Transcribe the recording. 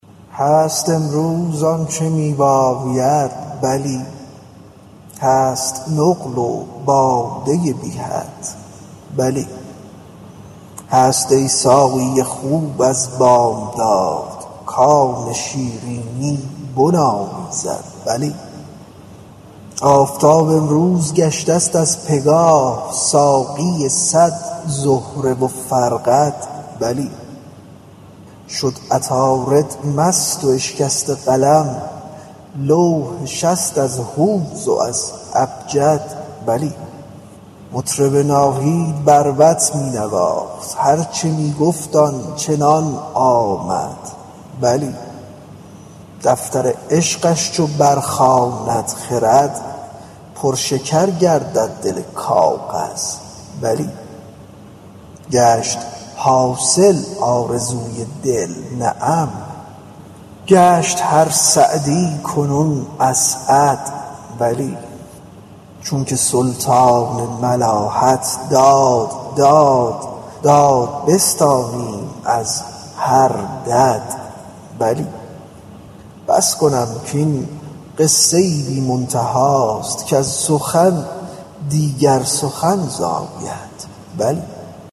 هست امروز آنچ می باید بلی هست نقل و باده بی حد بلی هست ای ساقی خوب از بامداد کان شیرینی بنامیزد بلی آفتاب امروز گشته ست از پگاه ساقی صد زهره و فرقد بلی شد عطارد مست و اشکسته قلم لوح شست از هوز و ابجد بلی مطرب ناهید بربط می نواخت هر چه می گفت آن چنان آمد بلی دفتر عشقش چو برخواند خرد پرشکر گردد دل کاغذ بلی گشت حاصل آرزوی دل نعم گشت هر سعدی کنون اسعد بلی چونک سلطان ملاحت داد داد داد بستانیم از هر دد بلی بس کنم کاین قصه ای بی منتهاست کز سخن دیگر سخن زاید بلی